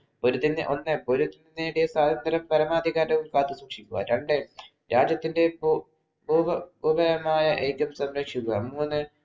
ഒന്ന് പൊരുതി നേടിയ സ്വാതന്ത്ര്യ പരമാധികാരവും കാത്തു സൂക്ഷിക്കുക. രണ്ട് രാജ്യത്തിന്‍റെ പോകെ സംരക്ഷിക്കുക. മൂന്ന്